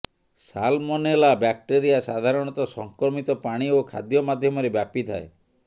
salmonella bacteria ସାଧାରଣତଃ ସଂକ୍ରମିତ ପାଣି ଓ ଖାଦ୍ୟ ମାଧ୍ୟମରେ ବ୍ୟାପୀଥାଏ